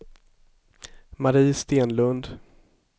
Mari Stenlund